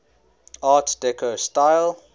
art deco style